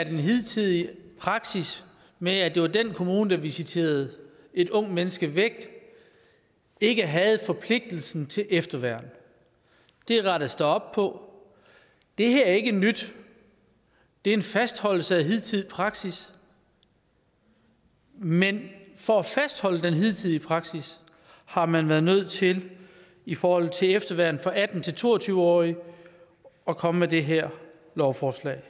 en hidtidig praksis med at det var den kommune der visiterede et ungt menneske væk ikke havde forpligtelsen til efterværn det rettes der op på det her er ikke nyt det er en fastholdelse af hidtidig praksis men for at fastholde den hidtidige praksis har man været nødt til i forhold til efterværn for atten til to og tyve årige at komme med det her lovforslag